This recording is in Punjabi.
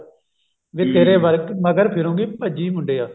ਵੇ ਤੇਰੇ ਮਗਰ ਫਿਰੂੰਗੀ ਭੱਜੀ ਮੁੰਡਿਆਂ